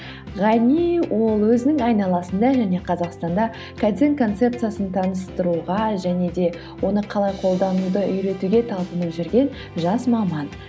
ғани ол өзінің айналасында және қазақстанда кайдзен концепциясын таныстыруға және де оны қалай қолдануды үйретуге талпынып жүрген жас маман